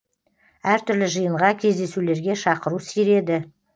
әртүрлі жиынға кездесулерге шақыру сиреді